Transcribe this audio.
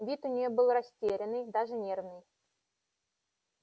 вид у неё был растерянный даже нервный